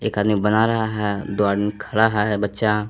एक आदमी बन रहा है दो आदमी खड़ा है बच्चा--